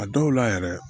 A dɔw la yɛrɛ